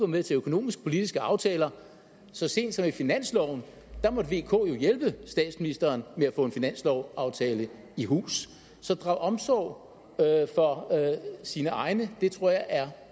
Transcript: med til økonomisk politiske aftaler så sent som i finansloven måtte vk jo hjælpe statsministeren med at få en finanslovsaftale i hus så at drage omsorg for sine egne tror jeg er